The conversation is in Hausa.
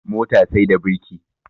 Mota sai da birki